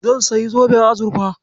Zan sayi zoben azurfa.